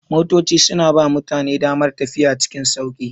Motoci suna ba mutane damar tafiya cikin sauƙi.